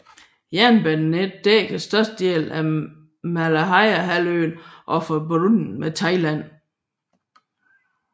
Jernbanenettet dækker størstedelen af Malayahalvøen og er forbundet med Thailand